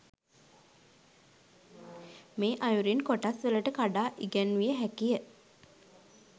මේ අයුරින් කොටස්වලට කඩා ඉගැන්විය හැකිය